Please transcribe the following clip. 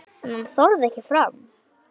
En hann þorði ekki fram.